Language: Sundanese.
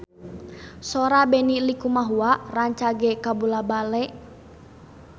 Sora Benny Likumahua rancage kabula-bale